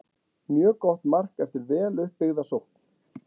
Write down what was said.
Mjög gott mark eftir vel upp byggða sókn.